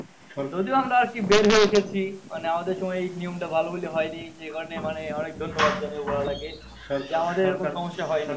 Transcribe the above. যদিও আমরা কি বের হয় এসেছি, আমাদের সময় এই নিয়ম টা ভালো বলে হয় নি যেখানে মানে অনেক ধন্যবাদ জানাই উপরওয়ালা কে